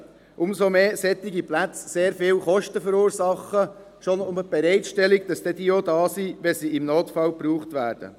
Dies umso mehr, als solche Plätze sehr hohe Kosten verursachen – schon nur deren Bereitstellung, damit sie dann auch da sind, wenn sie im Notfall gebraucht werden.